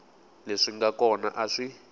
leswi nga kona a swi